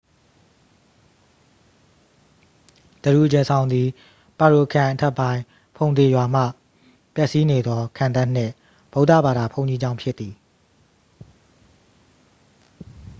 ဒရူဂျယ်ဇောင်သည် ပါရိုခရိုင်အထက်ပိုင်း ဖုန်ဒေရွာမှ ပျက်စီးနေသော ခံတပ်နှင့် ဗုဒ္ဓဘာသာ ဘုန်းကြီးကျောင်းဖြစ်သည်။